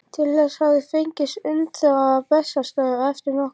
Til þess hafði fengist undanþága á Bessastöðum eftir nokkurt þóf.